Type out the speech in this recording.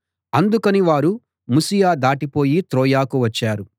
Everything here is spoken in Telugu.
అందుకని వారు ముసియ దాటిపోయి త్రోయకు వచ్చారు